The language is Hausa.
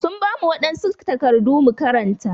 Sun bamu wadansu takardu mu karanta.